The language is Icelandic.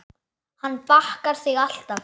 Hann bakar þig alltaf.